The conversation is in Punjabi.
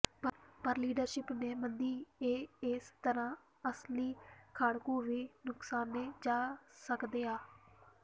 ਪਰ ਲੀਡਰਸ਼ਿਪ ਨੀ ਮੰਨਦੀ ਕੇ ਏਸ ਤਰ੍ਹਾਂ ਅਸਲੀ ਖਾੜਕੂ ਵੀ ਨੁਕਸਾਨੇ ਜਾ ਸਕਦੇ ਆ